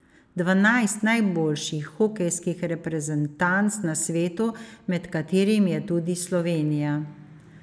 Dvanajst najboljših hokejskih reprezentanc na svetu, med katerimi je tudi Slovenija.